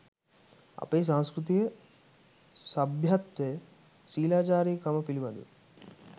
අපේ සංස්කෘතිය සභ්‍යත්වය ශීලාචාරකම පිළිබඳව